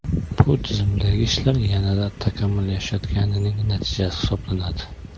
Bu tizimdagi ishlar yanada takomillashayotganining natijasi hisoblanadi.